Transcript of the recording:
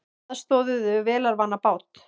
Aðstoðuðu vélarvana bát